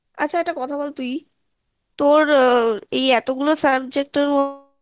আচ্ছা একটা কথা বল তুই তোর এই এত গুলো subject এর